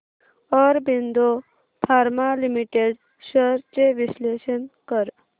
Aurobindo pharma limited shares चे विश्लेषण कर